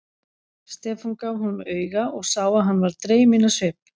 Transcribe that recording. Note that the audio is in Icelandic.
Stefán gaf honum auga og sá að hann varð dreyminn á svip.